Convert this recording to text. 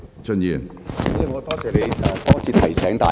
主席，我多謝你多次提醒大家。